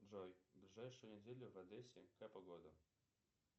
джой ближайшую неделю в одессе какая погода